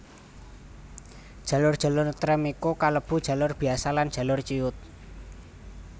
Jalur jalur trèm iku kalebu jalur biasa lan jalur ciyut